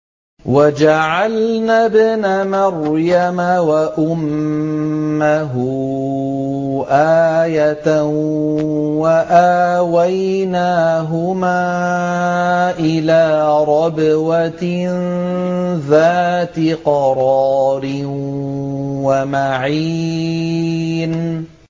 وَجَعَلْنَا ابْنَ مَرْيَمَ وَأُمَّهُ آيَةً وَآوَيْنَاهُمَا إِلَىٰ رَبْوَةٍ ذَاتِ قَرَارٍ وَمَعِينٍ